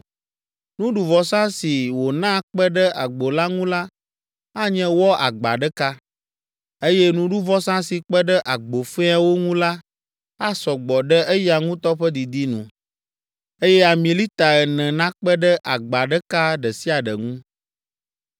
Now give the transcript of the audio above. Nuɖuvɔsa si wòna kpe ɖe agbo la ŋu la, anye wɔ agba ɖeka, eye nuɖuvɔsa si kpe ɖe agbo fɛ̃awo ŋu la asɔ gbɔ ɖe eya ŋutɔ ƒe didi nu, eye ami lita ene nakpe ɖe agba ɖeka ɖe sia ɖe ŋu.